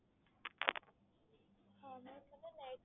ma'am